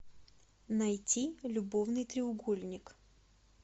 найти любовный треугольник